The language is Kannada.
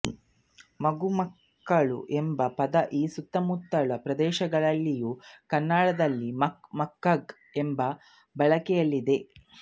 ಮಗು ಮಕ್ಕಳು ಎಂಬ ಪದ ಈ ಸುತ್ತಮುತ್ತಲ ಪ್ರದೇಶಗಳಲ್ಲಿಯ ಕನ್ನಡದಲ್ಲಿ ಮಕ್ಕ ಮಕ್ಕಗ ಎಂದು ಬಳಕೆಯಲ್ಲಿದೆ